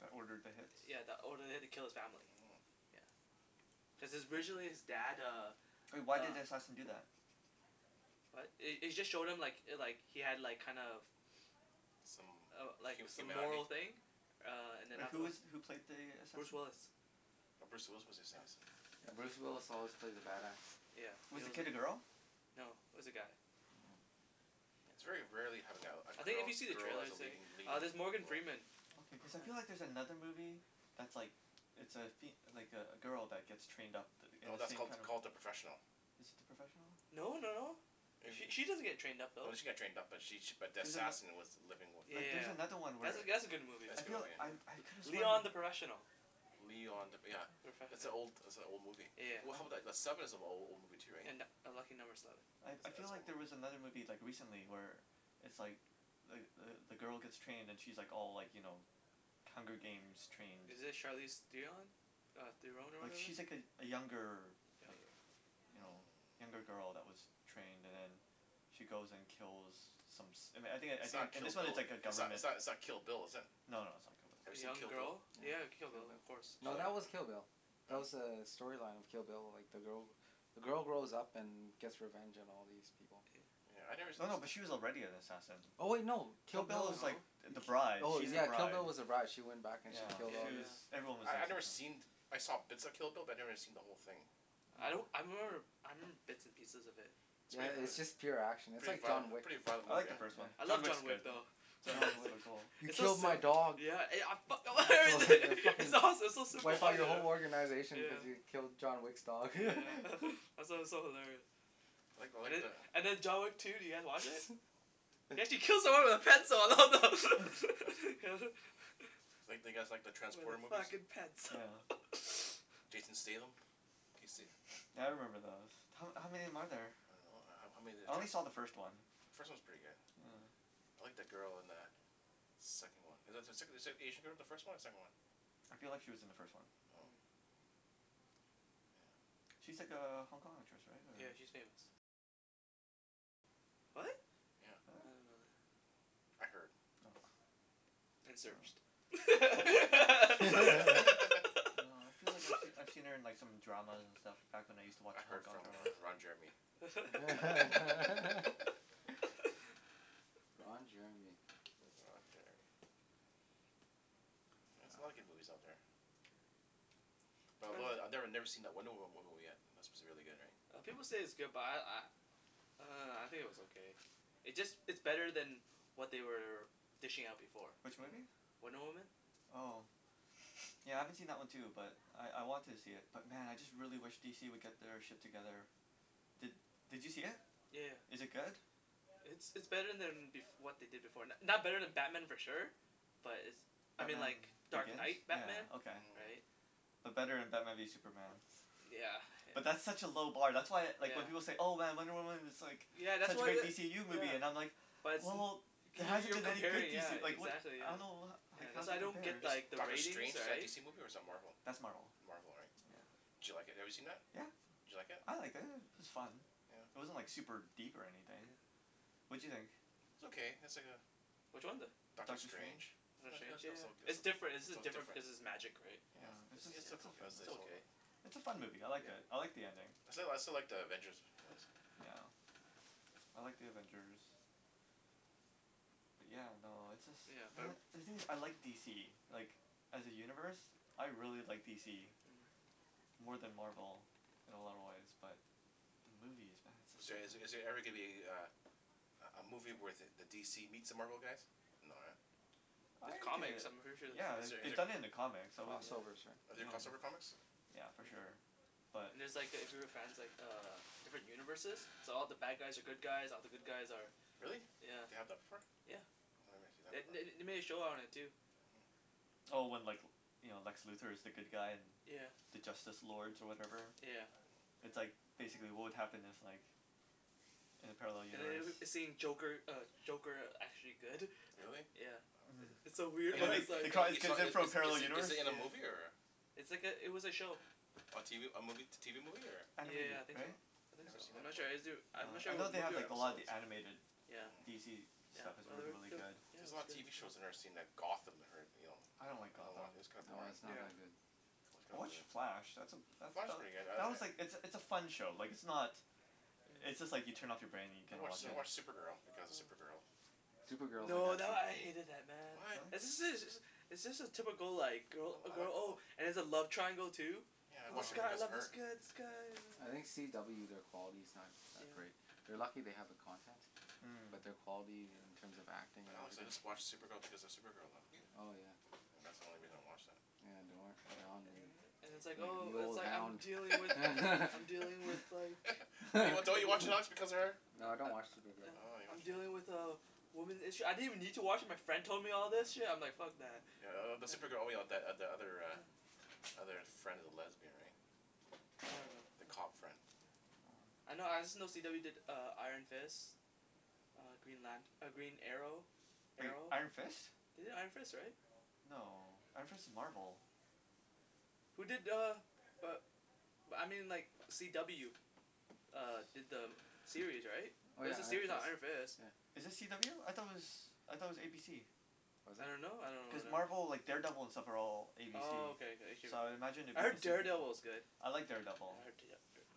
That ordered the hits yeah that ordered the hit to kill his family Mmm yeah cuz his originally his dad uh But why did uh the assassin do that? what it- it just showed him like like he had like kind of Some uh like hu- some humanity moral thing uh and then But who afterward is who played the Bruce assassin? Willis Oh Bruce Willis was the yeah assassin yeah Bruce Willis always plays a bad ass yeah he Was the al- kid a girl? , no it was a guy yeah oh Hmm yeah It's very rarely having a a I think if girl you see the girl as trailer a say leading leading there's role Morgan Freeman Okay cause I feel yeah like there's another movie that's like It's a fem- like a a girl that get's trained up th- in No the that's same called kinda called The Professional Is it The Professional? no no no It She wa- she doesn't get trained up No though she got trained up but she she but the She's an assassin was the living with yea- the Like there's yea- another one yeah where that that's a good movie That's I a good feel movie I I though could've sworn Leon The Professional Leon The yeah That's an old that's a old movie yeah Well how I about the the Sleven is an a- old movie too right and a Lucky Number Sleven That's I I that's feel like old there was mov- another movie like recently where it's like like the the girl gets trained and she like all like you know Hunger Games trained Is it Charlize Theon? mm Theron or like whatever? she's like a younger like you know younger Hmm girl that was trained and then she goes and kills some som- I thin- I It's not think Kill this one its Bill like a it's not government it's not Kill Bill is it? no no it's not Kill Bill Have A you seen young Kill Bill girl? Yeah you have a Kill Bill of course Did you No like it? that was Kill Bill huh? That's was uh the storyline of Kill Bill like the girl the girl grows up and gets revenge on all these people Yeah I nev- us- no no but us- she was already an assassin Oh no Kill Kill Bill Bill was like No th- Ki- the bride oh she's the yeah yeah Kill bride Bill was the brige she went back and she yeah yeah killed she all these was yeah yeah everyone was I I've never seen I saw bits of Kill Bill but I never seen the whole thing I don't Hmm I remember I remember bits and pieces of it It's yeah prett- it- its yeah just uh pure action it's Pretty like violent John mo- yeah Wick pretty violent I movie like the yeah. hey first one I John love yeah, Wick's John Wick good though yeah John Wick is John Wick so cool he It's so killed my sil- dog yeah I I fuck- fucken it's awesome it's so super wipe out your violent whole organization because yeah you Hmm killed John Wick's dog yeah it's it's so hilarious I like I and like the- the and then John Wick two did you guys watch it? He actually yeah kills someone with a pencil oh Do you like do you guys like the wear Transporter the movies fucking pants yeah Jason Statham can yo- se- Yeah I remember those, ho- how many are there? I don't know ho- how many of I the only trans- saw the first one The first one's pretty good Yeah I like the girl in the second one Is is the sec- is the Asian girl in the first one or the second one I feel like she was in the first one Oh Hmm yeah She's like a Hong Kong actress right Yeah or she's famous what? yeah Yeah? I didn't know that I heard Oh and Oh searched No I feel like I I've seen her in some dramas and stuff back when I use to watch I Hong heard Kong from uh dramas Ron Jeremy Ron Jeremy Ron Jeremy Yeah there's a lot yeah of good movies out there But depends I I never never seen that Wonder Woma- Woman movie yet that's suppose to be really good right uh people say its good but I I uh I think it was okay It's just it's better then what they were dishing out before Which Hmm movie? Wonder Woman Oh Yeah I haven't seen that one too but I I want to see it but man I really wish DC would get their shit together Did did you see it? yea- yeah Is it good? It's it's better then bef- what they did before, it's not better then Batman for sure But it's I mean Batman like Dark Begins? Night Batman Yeah okay. Hmm right But better than maybe Superman yeah But that's yeah such a low bar that's why like when yeah people say "Oh man Wonder Woman is like Yeah that's such a what great wha- DCU movie" yeah I'm like But Wel- it's- well there You- hasn't you're been any good comparing yeah DC like what the exactly I don't yeah know ho- Yeah that's how's why it I don't get compares Is like the Doctor ratings Strange is that a right DC movie or is that Marvel That's Marvel Marvel right yeah Yeah Did you like it have you seen that? yeah Did you like it? I liked it i- it was fun yeah It wasn't like super deep or anything yeah What'd you think? It's okay it's like a which one the Doctor Doctor Strange Strange it Doctor was it Strange was yeah oka- it it's different it's jus- was different different because its magic right Yeah yeah it's just it's it's a It's a fun movie, I liked it, I like the ending. I still like I still like The Avengers ones Yeah I like The Avengers Yeah no it's just yeah uh man the thing is I like DC like as a universe I really like DC Hmm more then Marvel in a lot of way but the movies man Is there they're just so is good there every gonna be a a a a movie where the DC meets the Marvel guys no eh I There's like comics it, I'm pretty sure there's yeah Is the- comic there they any- done it in the comics I cross wouldn't yeah overs right Are there yeah cross over comics yeah for yeah sure but And there's like if you were fans like uh different universes so all the bad guys are good guys, all the good guys are Really yeah, they have the before yeah Oh I never seen that The- part they they made a show on it too Hmm Oh when like you know Lex Luthor is the good guy and yeah the Justice Lords or whatever yeah It's like basically what would happen if like in a parallel And universe the- then seeing Joker uh Joker actually good Really? yeah Hmm wow It's so and weird then In they its they like call these is kids in is from a parallel is is universe it in a yeah movie or It's like it- it was a show A tv a movie t- tv movie or Yeah Animated yeah I think so right? I I think never so seen I'm that not before sure I'm Oh not sure I if it know was they a have movie or an like a lot of episode the animated yeah Hmm DC yeah stuff is well really they really they were good There's a it was lot of good tv shows I never seen like yeah Gotham that I heard you know I don't like I don't watc- Gotham it's kinda oh boring it's not yeah that good I watch The Flash that's a that Flash is that pretty good I I that was like it's a it's a I fun show like it's not It's just like you turn off your brain and you I can watch watch I it watch yeah Supergirl because of Supergirl Supergirl is a No good that show I hated that man What? right It's just a typical like I girl I like girl it oh all and there's a love triangle too Yeah I watch this it Oh guy I because of love this her guy this guy I oh think oh CW their quality's not that yeah great They're lucky they have the content Hmm but their quality in yeah terms of acting But and honestly everything I watch Supergirl because of Supergirl though oh yeah yeah Yeah that's the only yeah reason I watch that yeah and it's I like enjoy it oh the it's old like I'm hound dealing with I'm dealing with like Don't don't you watch Ooh because of her? I No I don't watch Supergirl Oh I I'm you dealing don't watch it with a woman's issue, I didn't even need to watch it my friend told me all this Hmm shit and I'm like fuck that Yeah th- the Supergirl only the the other uh other friend of the lesbian right I don't know the yeah cop friend I know I just know CW did uh Iron Fist Uh Green Lant- Green Arrow Wait Arrow. Iron Fist? They did Iron Fist right? No, Iron Fist is Marvel Who did uh uh but I mean like CW uh did the uh series right oh yeah there's a Iron series on Fist Iron Fist yeah Is it CW? I though it was I thought it was ABC. was I it don't know I Cuz don't know wh- Marvel like Daredevil and stuff are all ABC Oh okay okay so I imagine it I would be heard the same thing Daredevil is good I like yeah Daredevil I heard Da-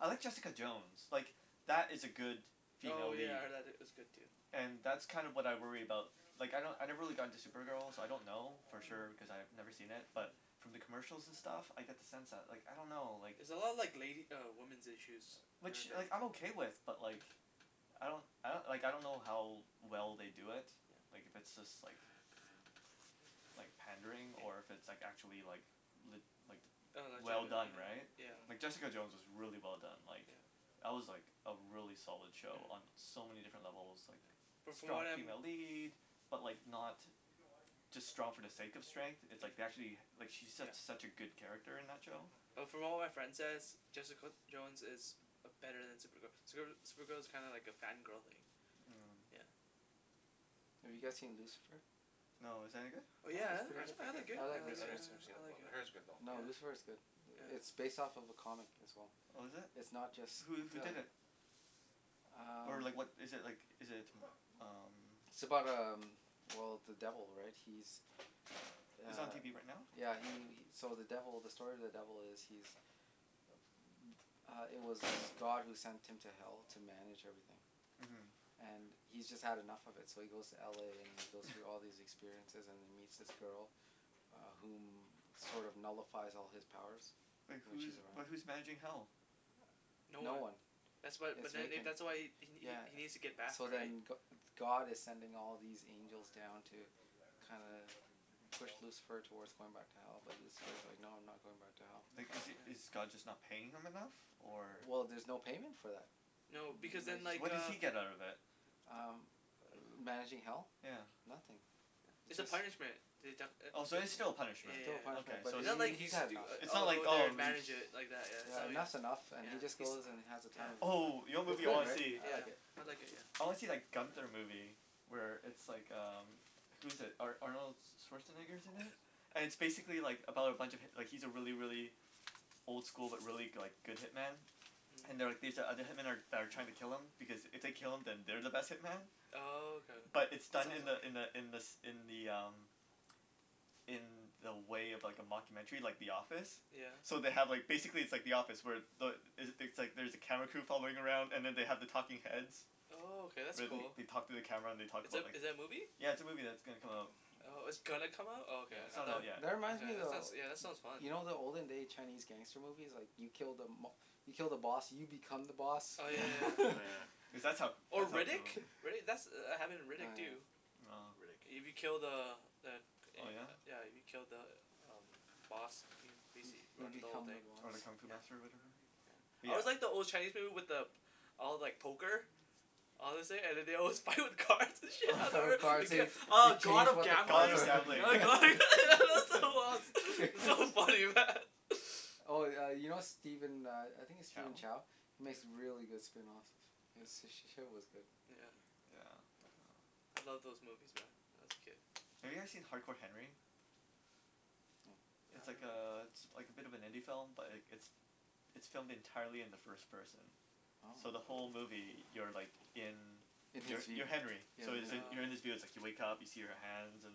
I heard Jessica Jones like that is a good female Oh yeah lead I heard tha- that was good too and that's kinda what I worry about like I kno- I never really got into Supergirl so I don't know for Hmm sure cause I've never seen it but Hmm from the commercial and stuff I get the sense that like I don't know It's a lot of like lady uh women's issues uh which kinda like I'm thing okay with but like Mm I don't I like I don't know how well they do it like if it's just like like pandering or yeah if it's like actually like lit- like Oh well legitimate done right yeah yeah, yeah like Jessica Jones Hmm is really well done like yeah That was like a really solid show Mm on so many different levels like But from strong what I'm female lead but like not just strong for the sake of strength it's yeah, like they actually like she's su- yeah, such a good character in that yeah show Mm But from what my friend says Jessica Jones is uh better then Supergirl, Supergirl Supergirl is kinda like a fan girl thing Hmm yeah Have you guys seen Lucifer? No, is that any good? Oh yeah I It's I pretty heard it's good, I I pretty good like it I I I I like like it yeah never Lucifer seen it yeah before I like but I heard it's good though No yeah Lucifer's good It- yeah it's based off a comic as well Oh is it? It's not just Who who the did it? Or um like what is it like is it t- umm It's about um well the devil right he's Is it on uh tv right now? yeah he he so the devil the story of the devil is he's m- uh it was God who sent him to hell to manage everything uh-huh and he's just had enough of it so he goes to LA and he goes through all these experiences and he meets this girl uh whom sort of nullifies all his powers Wait when she's who's but around who's managing hell? No no one one That's why it's but then vacant that's why he he yeah he needs to get back So right then Go- God is sending all these angels down to kinda push Lucifer towards going back to hell but Lucifer is like no I'm not going back to hell Like is is yeah God just not paying him enough? Or? Well there's no payment for that No because then So like what does uh he get out of it? um ma- managing hell? yeah Nothing yeah it's a it's punishment they def- it Oh so it it's still a yeah yeah punishment, yeah yeah yeah okay but so It's it's he not he like he's he's had doi- enough It's uh not I'll like go there and oh he- manage it like that yeah yeah and it that's enough and yeah he just goes and has the yeah he's oh yeah time of yeah his life. Oh you know what It's movie I good wanna right see? yeah, I yeah like it I like it yeah I wanna see that Gunther movie Where it's like um Who's it Ar- Arnold Oh my Schwarzenegger's in it goodness And it's basically like about a bunch of hip- like he's a really really old school but really like go- good hitman Hmm and they're like these other hitman that that are like trying to kill him because it they kill him then they're the best hitman Oh okay But it's done in the in the in the in the um In the way of like a mocumentary like The Office yeah So they have like basically it's like The Office where the is it things like there's a camera crew following around and they have the talking heads Oh okay that's Where they cool they talk to the camera and they talk Is about like is it a movie? Yeah it's a movie that's gonna come out Oh it's gonna come out oh Yeah okay it's I not out though, tha- yet that reminds okay me that sounds of- that sounds fun you know the olden day Chinese gangster movie's like you kill the mob- you kill the boss and you become the boss oh yeah Yeah Oh yeah yeah yeah cuz that's how Oh that's how Riddick? crimi- Riddick that's happened in Riddick oh yeah too No Riddick. You be killed the uh the uh Oh yeah? yeah you killed the um boss you hmm uh-huh bas- you run the whole become the thing Oh boss the kung fu yeah master of whatever? yeah But I yeah always like the old Chinese people with the all like poker all this thing and then they with cars and Oh shit, it gets oh God of Gambles yeah that that's so lost, so funny man oh yeah you know Steven uh I think its Chow Steven Chow makes really good spring rolls h- he's sh- shit was good yeah Yeah oh I love those movies man when I was a kid Have you guys seen Hard Core Henry? Mm uh It's I like don't know uh it's like a bit of an indie film but like it's it's filmed entirely in the first person so the oh whole Oh movie you're like in in his you're you're view Henry yeah so yo- you're in um his oh you wake up see your hands and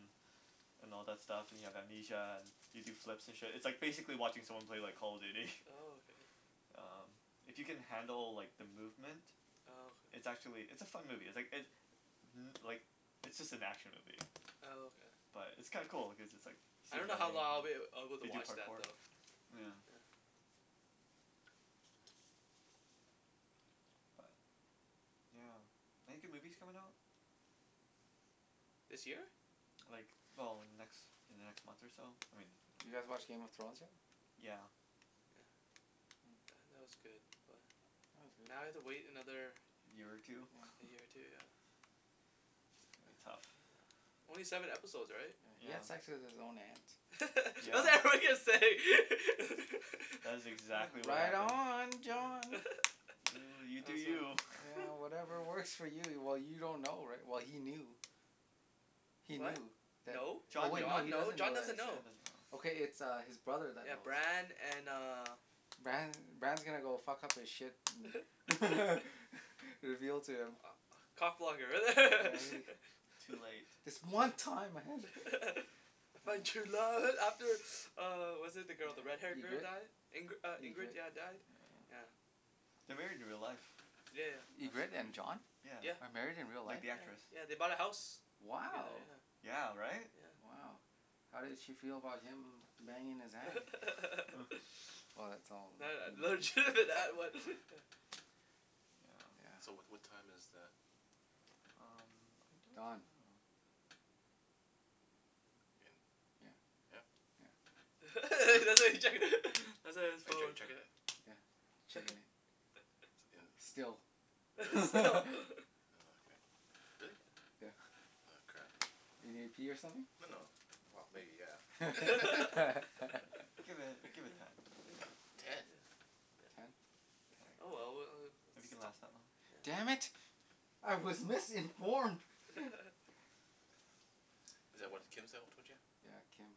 and all that stuff and you have amnesia and you do flips and shit it's like basically watching someone play like Call of Duty oh okay Umm If you can handle like the movement oh okay it's actually it's a fun movie it's like it uh-huh like it's just an action movie oh okay but it's kinda cool like cause it's just like I you see him don't know how running lo- long I'd be able to they do watch that parkour though yeah yeah but yeah Any good movies coming out? this year? Like well in the next in the next month or so I mean Did you guys watch Game of Thrones yet? yeah yeah yeah that was good but Now I have to wait another year or two year or two yeah It's gonna be tough only seven episode right? yeah he had yeah sex with his own aunt I was yeah like what are you gonna say That is exactly what right happened on yeah John that Oh you do was fun you yeah whatever works for you well you don't know righ- well he knew he what? knew tha- no, oh John wait didn't John he no doesn't know John that doesn't John yet doesn't know know Okay it's his brother that yeah knows Bran and uh Bran Bran is gonna go fuck up his shit you're guiltier ah cock yeah blocker he Too late This one time I I found true love after uh was it the girl the red hair yeah girl Ingrid die Ingri- Ingrid Ingrid yeah died yeah They're married in real life Yeah yeah That's Ingrid and crazy, John yeah yeah are married in real Like life? the yeah actress yeah they bought a house together wow yeah Yeah right yeah wow how did she feel about him banging his aunt? that was yeah so yeah what what time is the hmm I don't Don know In, yeah yeah yeah Hmm his Are you chec- phone checking it? yeah still There is stop Oh okay, really? yeah Oh crap you need to pee or something? No no well No maybe yeah yeah Give it give it ten Ten? yeah you can Ten oh okay yeah, well we if you uh can last that long damn yeah Mm it I was missing Is that what Kim yeah yeah Kim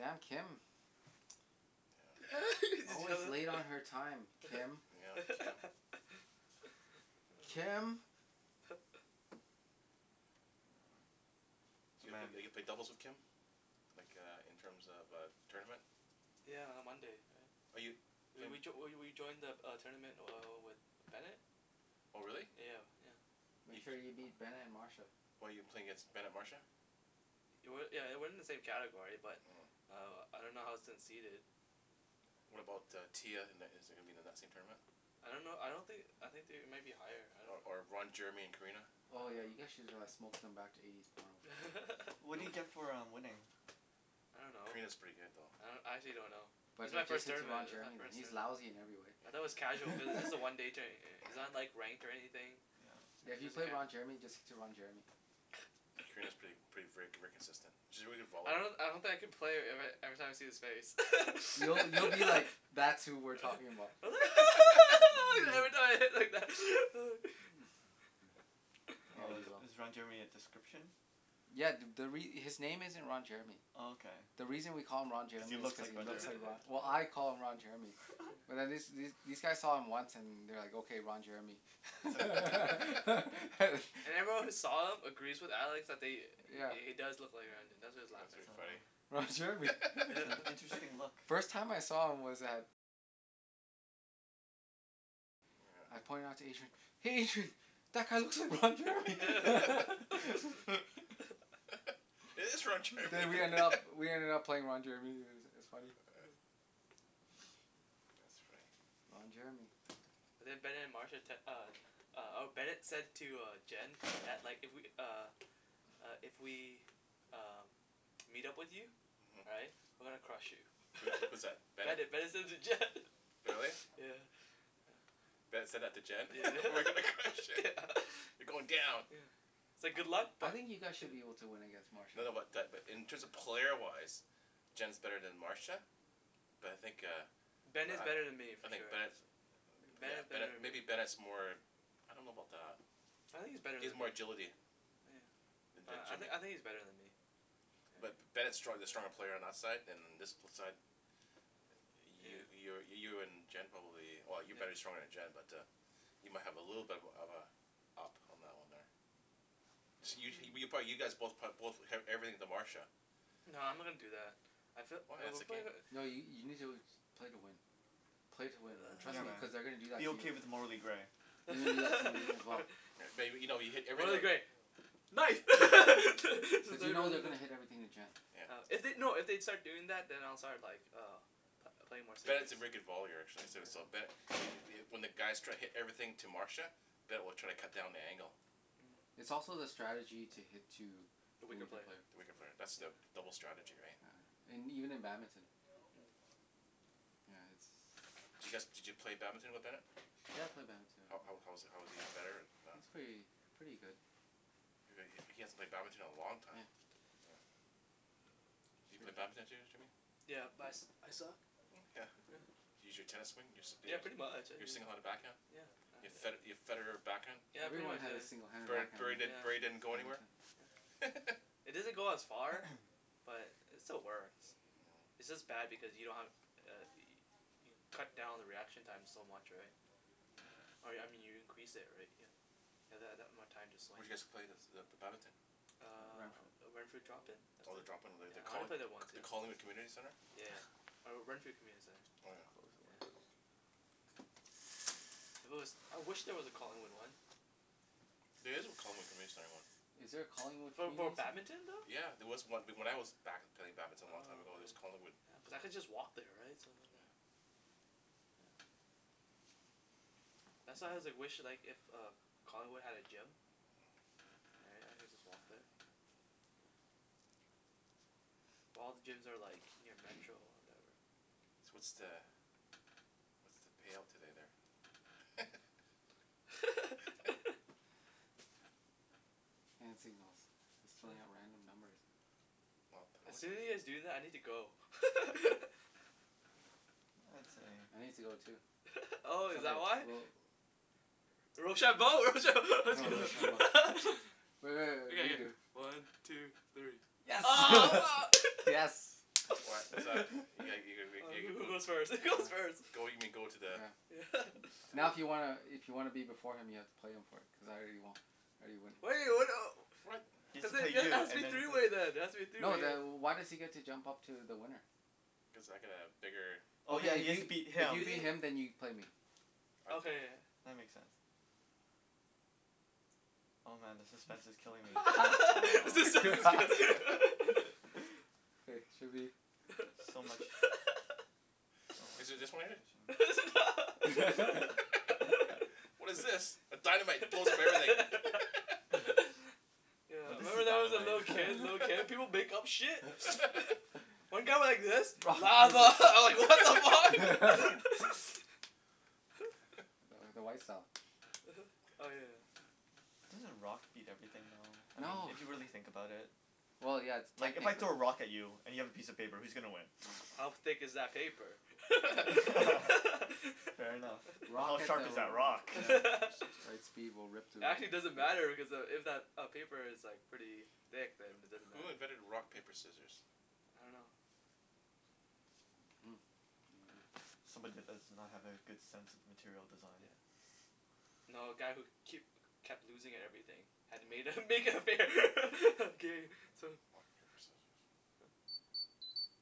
huh Kim yeah did you always know late on that? her time Kim yeah Kim oh Kim So you eve- Demand ever played doubles with Kim? Like uh in terms of uh tournament yeah on Monday right Are you, we playin- we joi- we we we joined the the uh tournament uh with Bennet Oh really yeah yeah Make bef- sure you beat Bennet and Marsha why you playing against Bennet Marsha It wa- yeah it wasn't in the same category but uh I don't know how its seated What about uh Tia in in is it gonna be in the same tournament? I don't know I don't thin- I think they might be higher I Or don't or Ron know Jeremy and Karina Oh yeah you oh guys should uh smoke them back to eighties porno. What No do you one get for uh winning? I don't know Karina's pretty good though I do- I actually don' know This But is my ju- just first hit to tournament Ron this is my Jeremy first he's tournament lousy in every I though it was casual cuz this way a one day tou- tou- it's not ranked or anything yeah yeah Like if you there's a play Ron Jeremy just hit to Ron Jeremy Karina's prett- pretty ver- very consistent she's a very good I volleyball pla- don- I don't think I can play ever- every time I see his face You- you'll be like that's who we're talking about uh yeah Oh is you will is Ron Jeremy a description? yeah th- the re- his name isn't Ron Jeremy Oh okay the reason we call him Ron if you Jeremy is look cuz like he Ron looks Jeremy like Ro- well I call him Ron Jeremy yeah But wh- these these guys saw him once and they're like okay Ron Jeremy It's like harsh And everyone who saw him agrees with Alex that they yeah he he does look like Ron Je- that's why he was That's laughing pretty funny Oh Ron yeah Jeremy It's an interesting look First time I saw him was at I pointed it out to Adrian "hey Adrian" That guy looks like Ron Jeremy But we ended up we ended up playing Ron Jeremy i- it was funny uh yeah that's funny Ron Jeremy yeah and then Bennet and Marsha tec- uh uh or Bennet said to uh Jen that like if we uh uh if we um meet up with you right uh-huh we're gonna crush you so was that was that Bennet? Bennet Bennet said it to Jen Really? yeah yeah Bennet said that to Jen yeah we're gonna crush yeah it, you're going down yeah It's like good luck i- I but think you yeah guys should be able to win against No Marsha no but that in terms of player wise Jen's better then Marsha But I think uh But Bennet's better then me eh I for think sure Bennet's Ben yeah is better Bennet then maybe me Bennet's more I don't know about that I think he's better He has then more me, oh agility yeah Then then I I Jimmy think he's better then me But yeah Bennet's strong- the stronger player on our side and uh this side You you yeah you're you're in Jen probably well you're better yeah stronger then Jen but uh You might have a little bit of uh of uh up on that one there this you you probably you guys both prob- both eve- everything to Marsha No I'm not gonna do that I fee- Why uh that's we the game pla- No you you need to play to win play to win man trust Yeah me man, cuz they gonna do that be to you okay with the morally gray May- maybe you know you hit morally everything gray nice to But you know they're to gonna hit everything to Jen yeah If they- no if they'd start doing that then I'll start like uh pl- playing more serious Bennet's a very good volleyer actually so so yeah but it it when the guys try to hit everything to Marsha Ben will try to cut down the angle Hmm But it's also the strategy to hit to the the weaker weaker player player the weaker player that's the yeah double strategy right yeah yeah and even in badminton Mm Does you guys did you play badminton with Bennet? yeah I play badminton How how how was he how was he better or not He's pretty pretty good He he hasn't played badminton in a long time yeah Hmm Do you play badminton Jim- Jimmy Yeah but I su- I suck yeah yeah Can you use your tennis swing yeah pretty much I your single handed back hand uh yeah Your Fed- I Your Federer back hand yeah pretty Everyone much had a yeah singled handed Bur Bur backhand Burry Burry yeah didn't go anywhere yeah it doesn't go as far but it still works Hum its just bad because you don't have uh yo- you cut down the reaction time so much right yeah Or I me- mean you increase it right you you have that that more time to Where swing did you guys play the the badminton Ren- Uh Renfrew drop-in that's Oh the it drop in the yeah the I only Colling- played there once the yeah Collingwood Community Centre yeah yeah or Renfrew Community I'm Oh gonna yeah close the Centre window If there wa- I wish there was a Collingwood one There is a Collingwood Community Center one Is there a Collingwood For bad- Community Centre? badminton though? Yeah there was on- when I was back play- playing badminton a long time ago Oh there was Collingwood okay yeah cause I could just walk there right so then there yeah yeah that's how why I wish like if uh Collingwood had a gym Hmm yeah I could just walk there yeah well all the gyms are like near metro or whatever Wa- what's the what's the payout today there? I'm just throwing hmm out random numbers Not, how As much the soon as you guys do that I need to go I'd say I need to go too oh is okay that why? we'll Rochambeau, rochambeau. Oh rochambeau Re- re- okay re- yeah yeah redo one two three oh mar yes What what's that? you ga you oh ga ga who who go goes first who goes first yeah go you mean go to the yeah yeah to the Now if you wanna i- if you wanna be before him you have to play him for it because I already wo- I already win He has cuz to play there then it you has to and be then three play way then it has to be a three No way then wh- yeah why does he get to jump up to the winner cuz I got a bigger Oh yeah okay if he has to beat if you him beat him then you can play me I okay go- yeah yeah That makes sense Oh man the suspense is killing me ah the suspense okay should be So much So much Is it just one in there it's a not What is this, a dynamite it blows up everything No yeah this is remember that when I was a dynamite little kid little kid people make up shit one got like this lava I was like what the fuck no th- the white style uh-huh oh yeah Doesn't rock beat everything though I I mean No if you don't really think know about it well yeah like if I yeah technically throw a rock at you and you have a piece of paper who's gonna win? How thick is that paper fair enough How rock hit sharp the is ro- that rock? yeah rock, paper, the right scissor speed will rip through it, Actually because doesn't matter because uh if if that paper is pretty thick then it doesn't Who matter invented rock yeah paper scissors? I don't know uh-huh I don't know Somebody did this does not have a good sense of material design yeah No a guy who keep kep- kept losing at everything had to made uh Oh make it fair game so